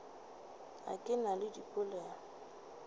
a ke na le dipelaelo